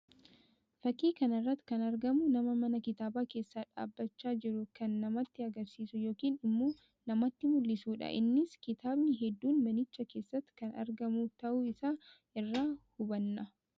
Fakkii kana irratti kan argamu nama mana kitaabaa keessaa dhaabbachaa jiru kan namatti agarsiisu yookiin immoo namtti mullisuu dha. Innis kitaabni hedduun manicha keessatti kan argamu tahuu isaa irraa hubanna.